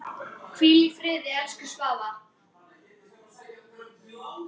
Hvíl í friði, elsku Svafa.